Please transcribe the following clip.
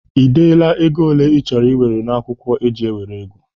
Ị dela ego ole ị chọrọ iwere n'akwụkwọ eji enwere ego?